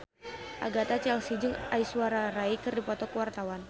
Agatha Chelsea jeung Aishwarya Rai keur dipoto ku wartawan